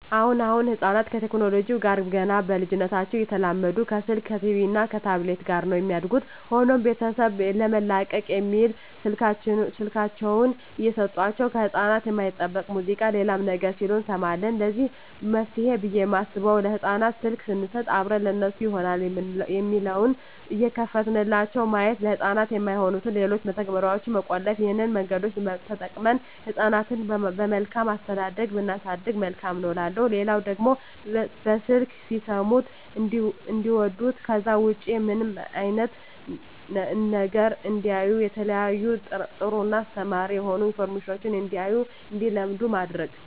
አሁን አሁን ህጻናት ከቴክኖለጂው ጋር ገና በልጂነታቸው እየተላመዱ ከስልክ ከቲቪ እና ከታብሌት ጋር ነው የሚያድጉት። ሆኖም ቤተሰብ ለመላቀቅ በሚል ስልካቸውን እየሰጦቸው ከህጻናት የማይጠበቅ ሙዚቃ ሌላም ነገር ሲሉ እንሰማለን ለዚህ መፍትሄ ብየ የማስበው ለህጻናት ስልክ ሰንሰጥ አብረን ለነሱ ይሆናል የሚለውን እየከፈትንላቸው ማየት፤ ለህጻናት የማይሆኑትን ሌሎችን መተግበርያዋች መቆለፍ ይህን መንገዶች ተጠቅመን ህጻናትን በመልካም አስተዳደግ ብናሳድግ መልካም ነው እላለሁ። ሌላው ደግሞ በስልክ ሲሰሙት እንዲዋዱት ከዛ ውጭ ምንም አይነት ነገር እንዳያዩ የተለያዩ ጥሩ እና አስተማሪ የሆኑ አኒሜሽኖችን እንዲያዩ እና እንዲለምዱ ማድረግ።